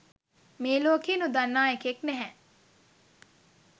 මේලෝකේ නොදන්නා එකෙක් නැහැ